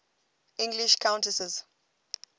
english countesses